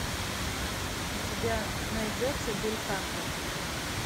у тебя найдется бельканто